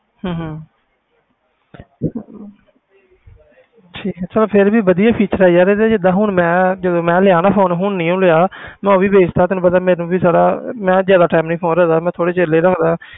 ਹਮ ਹਮ ਠੀਕ ਹੈ ਚੱਲ ਫਿਰ ਵੀ ਵਧੀਆ feature ਹੈ ਯਾਰ ਇਹਦੇ ਜਿੱਦਾਂ ਹੁਣ ਮੈਂ ਜਦੋਂ ਮੈਂ ਲਿਆ ਨਾ phone ਹੁਣ ਨੀ ਉਹ ਲਿਆ ਮੈਂ ਉਹ ਵੀ ਵੇਚ ਦਿੱਤਾ ਤੈਨੂੰ ਪਤਾ ਮੈਨੂੰ ਵੀ ਜ਼ਿਆਦਾ ਮੈਂ ਜ਼ਿਆਦਾ time ਨੀ phone ਰੱਖਦਾ ਮੈਂ ਥੋੜ੍ਹੇ ਚਿਰ ਲਈ ਰੱਖਦਾਂ।